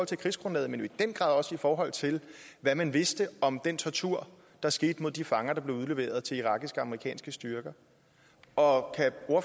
til krigsgrundlaget men i den grad også i forhold til hvad man vidste om den tortur der skete på de fanger der blev udleveret til irakiske og amerikanske styrker og